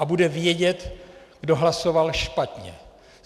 A bude vědět, kdo hlasoval špatně.